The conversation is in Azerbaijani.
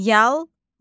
Yallı.